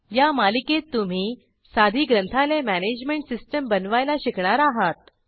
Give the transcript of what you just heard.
या मालिकेत तुम्ही साधी ग्रंथालय मॅनेजमेंट सिस्टीम बनवायला शिकणार आहात